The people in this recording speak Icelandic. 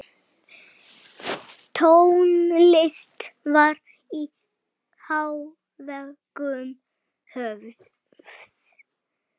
Tónlist var í hávegum höfð.